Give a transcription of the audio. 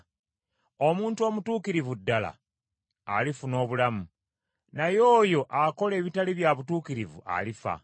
Omuntu omutuukirivu ddala alifuna obulamu, naye oyo akola ebitali bya butuukirivu alifa.